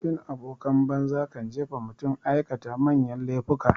Bin abokan banza kan jefa mutum aikata manyan laifuka.